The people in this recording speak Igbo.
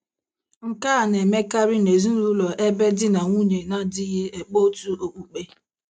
Nke a na - emekarị n’ezinụlọ ebe di na nwunye na - adịghị ekpe otu okpukpe.